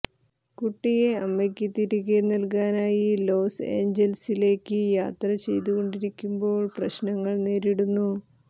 കുട്ടിയെ അമ്മയ്ക്ക് തിരികെ നൽകാനായി ലോസ് ഏഞ്ചൽസിലേക്ക് യാത്ര ചെയ്തുകൊണ്ടിരിക്കുമ്പോൾ പ്രശ്നങ്ങൾ നേരിടുന്നു